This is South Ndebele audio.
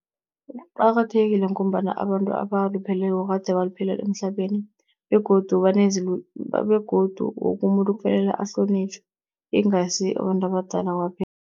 Kuqakathekile ngombana abantu abalupheleko kade baphila emhlabeni begodu begodu wokumuntu kufanele ahlonitjhwe, ingasi abantu abadala kwaphela.